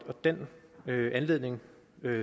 og den anledning